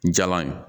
Jaba ye